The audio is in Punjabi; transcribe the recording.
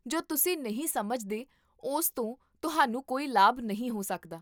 ਜੋ ਤੁਸੀਂ ਨਹੀਂ ਸਮਝਦੇ ਉਸ ਤੋਂ ਤੁਹਾਨੂੰ ਕੋਈ ਲਾਭ ਨਹੀਂ ਹੋ ਸਕਦਾ